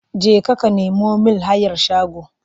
Jeka ka nemo mIn hayar shago!